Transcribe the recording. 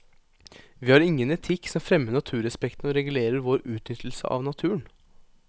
Vi har ingen etikk som fremmer naturrespekten og regulerer vår utnyttelse av naturen.